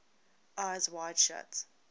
eyes wide shut